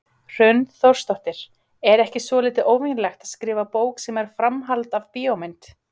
Hrund Þórsdóttir: Er ekki svolítið óvenjulegt að skrifa bók sem er framhald af bíómynd?